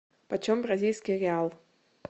почем бразильский реал